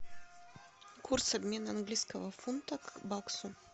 курс обмена английского фунта к баксу